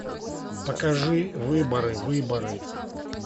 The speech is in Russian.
покажи выборы выборы